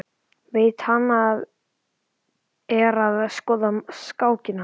Veit að hann er að skoða skákina.